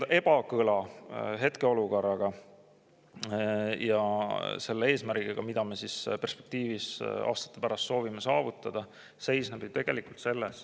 Ja see ebakõla hetkeolukorra ja eesmärgi vahel, mida me aastate pärast soovime saavutada, seisneb tegelikult selles.